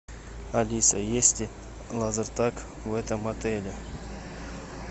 алиса есть ли лазертаг в этом отеле